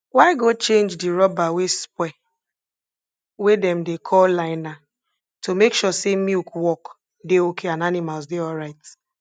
y go change di rubber wey spoil wey dem dey call liner to make sure say milk work dey okay and animals dey alright